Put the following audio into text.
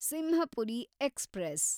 Simhapuri express